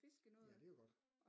Ja det var godt